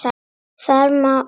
Þar má nefna